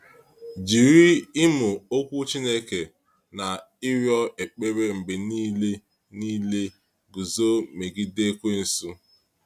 Jiri ịmụ Okwu Chineke na ịrịọ ekpere mgbe niile niile guzo megide Ekwensu.